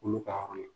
Olu ka yɔrɔ la